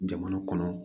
Jamana kɔnɔ